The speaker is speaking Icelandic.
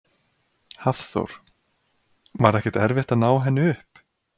Hafþór: Var ekkert erfitt að ná henni upp?